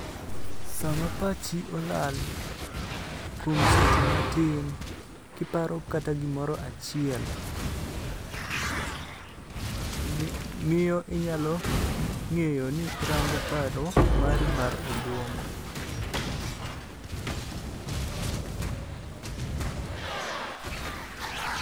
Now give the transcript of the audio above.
Sama pachi olal, kuom seche matin, kiparo kata gimoro achiel, miyo inyalo ng'eyo ni irango paro mari mar obuongo.